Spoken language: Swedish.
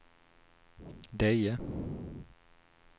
Deje